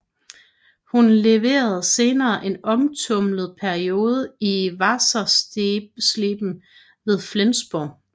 Hun levede senere en omtumlet periode i Wassersleben ved Flensborg